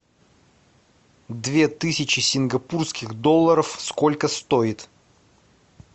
две тысячи сингапурских долларов сколько стоит